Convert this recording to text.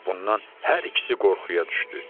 Bundan hər ikisi qorxuya düşdü.